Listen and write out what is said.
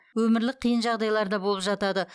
өмірлік қиын жағдайлар да болып жатады